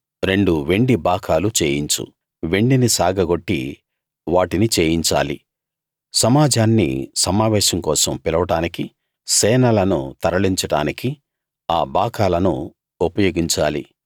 రెండు వెండి బాకాలు చేయించు వెండిని సాగగొట్టి వాటిని చేయించాలి సమాజాన్ని సమావేశం కోసం పిలవడానికీ సేనలను తరలించడానికీ ఆ బాకాలను ఉపయోగించాలి